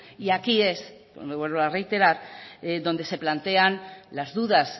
y aquí es me vuelvo a reiterar donde se plantean las dudas